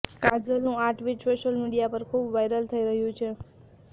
કાજોલનું આ tweet social media પર ખૂબ વાયરલ થઈ રહ્યું છે